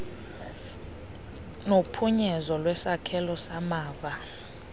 nophunyezo lwesakhelo samava